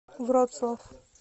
вроцлав